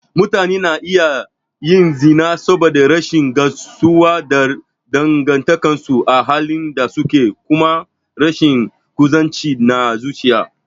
Mutane na iya yin zina saboda rashin gamsuwa da dangantakarsu a halin da suke ko kuma rashin kusanci na zuciya.